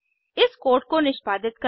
इस कोड को निष्पादित करें